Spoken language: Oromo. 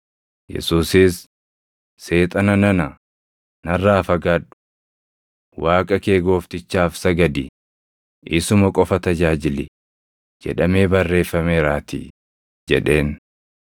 Yesuusis, “Seexana nana, narraa fagaadhu! ‘Waaqa kee Gooftichaaf sagadi; isuma qofa tajaajili’ + 4:10 \+xt KeD 6:13\+xt* jedhamee barreeffameeraatii” jedheen.